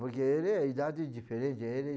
Porque ele é idade diferente. Ele